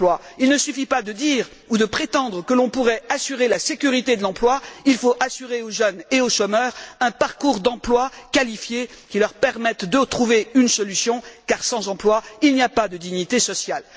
Il ne suffit pas de dire ou de prétendre que l'on pourrait assurer la sécurité de l'emploi, il faut assurer aux jeunes et aux chômeurs un parcours d'emplois qualifiés qui leur permette de trouver une solution car sans emploi, il n'y a pas de dignité sociale.